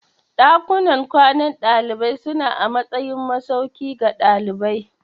Dakunan kwanan dalibai suna a matsayin masauki ga dalibai.